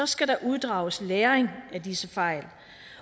skal der uddrages læring af disse fejl